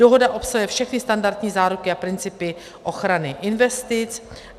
Dohoda obsahuje všechny standardní záruky a principy ochrany investic.